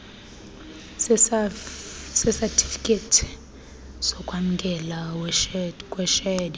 sesatifiketi sokwamkeleka kweshedi